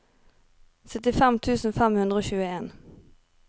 syttifem tusen fem hundre og tjueen